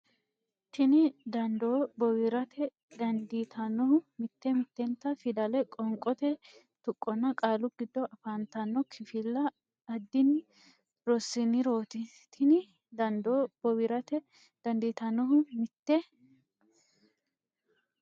Tini dandoo bowirtara dandiitannohu mitte mittenta fidale qoonqote tuqqonna qaalu giddo afantanno kifilla addinni rosiinsirooti Tini dandoo bowirtara dandiitannohu mitte.